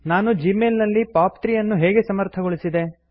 ನಾನು ಜಿಮೇಲ್ ನಲ್ಲಿ ಪಾಪ್ 3 ಅನ್ನು ಹೇಗೆ ಸಮರ್ಥಗೊಳಿಸಿದೆ